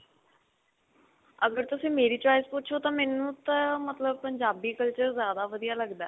ਅਗਰ ਤੁਸੀਂ ਮੇਰੀ choice ਪੁੱਛੋ ਤਾਂ ਮੈਨੂੰ ਤਾਂ ਮਤਲਬ ਪੰਜਾਬੀ culture ਜਿਆਦਾ ਵਧੀਆ ਲੱਗਦਾ.